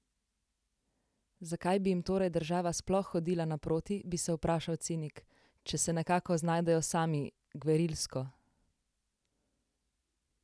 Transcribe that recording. Zakaj bi jim torej država sploh hodila naproti, bi se vprašal cinik, če se nekako znajdejo sami, gverilsko?